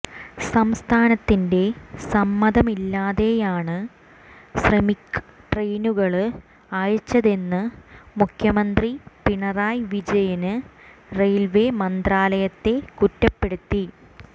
സംസ്ഥാനത്തിന്റെ സമ്മതമില്ലാതെയാണ് ശ്രമിക് ട്രയിനുകള് അയച്ചതെന്ന് മുഖ്യമന്ത്രി പിണറായി വിജയന് റെയില്വേ മന്ത്രാലയത്തെ കുറ്റപ്പെടുത്തി